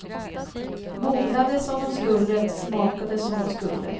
Mognade som de skulle, smakade som de skulle.